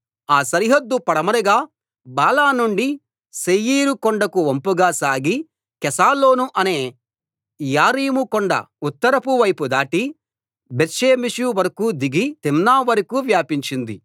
ఆ సరిహద్దు పడమరగా బాలా నుండి శేయీరు కొండకు వంపుగా సాగి కెసాలోను అనే యారీము కొండ ఉత్తరపు వైపు దాటి బేత్షెమెషు వరకూ దిగి తిమ్నా వైపుకు వ్యాపించింది